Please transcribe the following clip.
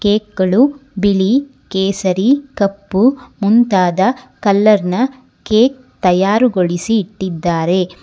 ಕೇಕ್ಗಳು ಬಿಳಿ ಕೇಸರಿ ಕಪ್ಪು ಮುಂತಾದ ಕಲರ್ನ ಕೇಕ್ ತಯಾರುಗೊಳಿಸಿ ಇಟ್ಟಿದ್ದಾರೆ.